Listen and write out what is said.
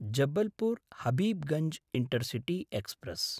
Jabalpur Habibganj intercity express